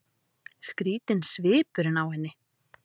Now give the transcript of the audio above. Skrýtinn svipur á henni.